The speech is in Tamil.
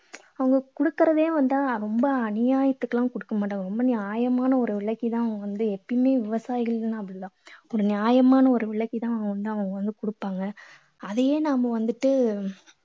அவங்க கொடுக்கறதே வந்து ரொம்ப அநியாயத்துக்கு எல்லாம் கொடுக்க மாட்டாங்க. ரொம்ப நியாயமான ஒரு விலைக்கு தான் அவங்க தான் எப்போவவுமே விவாயிகளெல்லாம் அப்படித்தான். நியாயமான ஒரு விலைக்கு தான் அவங்க வந்து அவங்க வந்து கொடுப்பங்க. அதே நம்ம வந்துட்டு